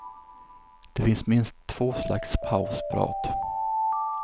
Det finns minst två slags pausprat.